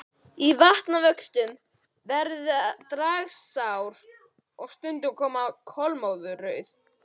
Í vatnavöxtum verða dragár stundum kolmórauðar.